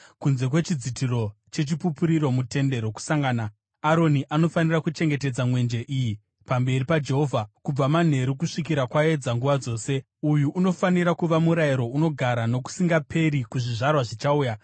Kunze kwechidzitiro cheChipupuriro muTende Rokusangana, Aroni anofanira kuchengetedza mwenje iyi pamberi paJehovha kubva manheru kusvikira kwaedza, nguva dzose. Uyu unofanira kuva murayiro unogara nokusingaperi kuzvizvarwa zvichauya.